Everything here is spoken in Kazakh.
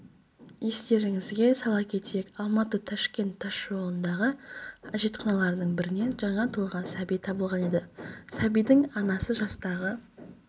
естеріңізге сала кетейік алматы-ташкент тас жолындағы әжетханалардың бірінен жаңа туылған сәби табылған еді сәбидің анасы жастағы